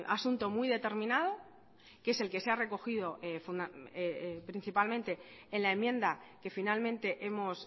asunto muy determinado que es el que se ha recogido principalmente en la enmienda que finalmente hemos